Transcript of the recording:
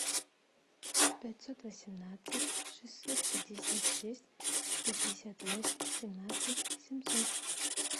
пятьсот восемнадцать шестьсот пятьдесят шесть пятьдесят восемь семнадцать семьсот